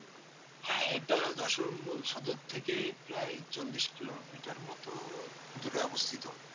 হ্যাঁ এটা যশোর মূল সদর থেকে প্রায় চল্লিশ কিলোমিটার মতো দূরে অবস্থিত